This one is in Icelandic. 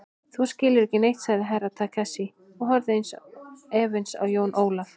Þú skilur ekki neitt, sagði Herra Takashi og horfði efins á Jón Ólaf.